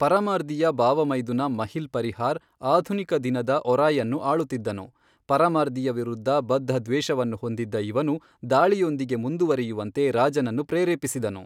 ಪರಮಾರ್ದಿಯ ಭಾವಮೈದುನ ಮಹಿಲ್ ಪರಿಹಾರ್ ಆಧುನಿಕ ದಿನದ ಒರಾಯ್ಅನ್ನು ಆಳುತ್ತಿದ್ದನು, ಪರಮಾರ್ದಿಯ ವಿರುದ್ಧ ಬದ್ಧದ್ವೇಷವನ್ನು ಹೊಂದಿದ್ದ ಇವನು ದಾಳಿಯೊಂದಿಗೆ ಮುಂದುವರಿಯುವಂತೆ ರಾಜನನ್ನು ಪ್ರೇರೇಪಿಸಿದನು.